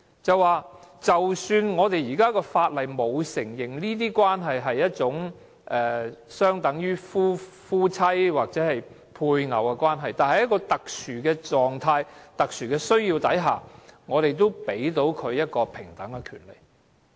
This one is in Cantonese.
即使香港的法例沒有承認這些關係相等於夫妻或配偶的關係，但在特殊的情況、特殊的需要下，我們也給予這些伴侶平等的權利。